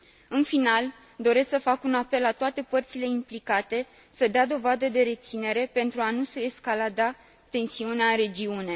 În final, doresc să fac un apel la toate părțile implicate să dea dovadă de reținere pentru a nu se escalada tensiunea în regiune.